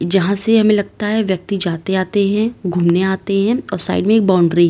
यहां से हमें लगता है व्यक्ति जाते आते हैं घूमने आते हैं और साइड में एक बाउंड्री --